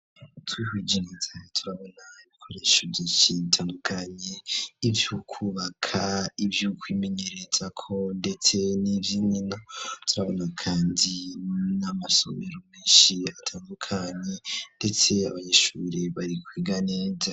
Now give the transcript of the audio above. Twihweje neza, turabona ibikoresho vyinshi bitandukanye; ivy'ukwubaka, ivy'ukwimenyererezako ndetse n'ivy'inkino; turabona kandi n'amasomero menshi atandukanye, ndetse abanyishuri bari kwiga neza.